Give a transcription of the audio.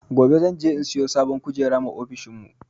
Gobe zan je in siyo sabon kujeru ma ofishin mu